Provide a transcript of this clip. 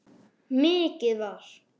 Mikið var!